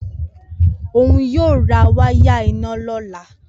Oun yoo ra waya ina lola